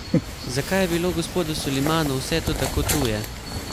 Zakaj je bilo gospodu Solimanu vse to tako tuje?